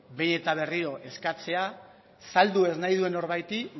behin eta berriro eskatzea saldu ez nahi duen norbaiti